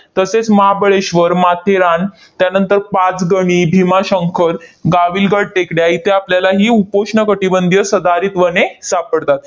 तसेच महाबळेश्वर, माथेरान, त्यानंतर पाचगणी, भीमाशंकर, गाविलगड टेकड्या इथे आपल्याला ही उपोष्ण कटिबंधीय सदाहरित वने सापडतात.